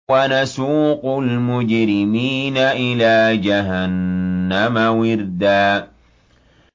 وَنَسُوقُ الْمُجْرِمِينَ إِلَىٰ جَهَنَّمَ وِرْدًا